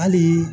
Hali